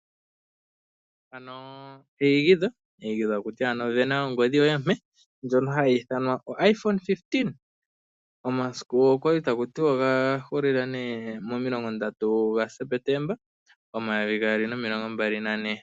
Mpano eyigitho tali ti vena ongodhi yoye ompe ndjono hayi ithanwa iPhone 15, omasiku gomaindilo oga hulile momilongo ndatu gaSepetemba 2024.